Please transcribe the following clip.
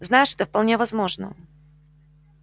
знаешь это вполне возможно